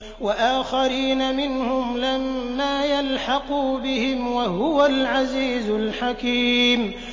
وَآخَرِينَ مِنْهُمْ لَمَّا يَلْحَقُوا بِهِمْ ۚ وَهُوَ الْعَزِيزُ الْحَكِيمُ